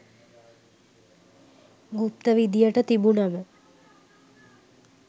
ගුප්ත විදියට තිබුනම